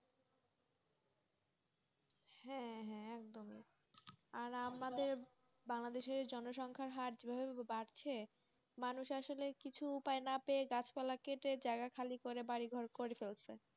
হ্যাঁ হ্যাঁ একদমইবাংলাদেশের জনসংখ্যার হার যেভাবে বাড়ছে মানুষ আসলে কিছু উপায় না পেয়ে গাছপালা কেটে জায়গা খালি করে বাড়িঘর করে ফেলছে,